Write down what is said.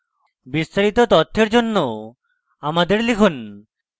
বিস্তারিত তথ্যের জন্য আমাদের লিখুন